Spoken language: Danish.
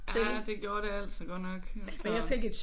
Ah det gjorde det altså godt nok altså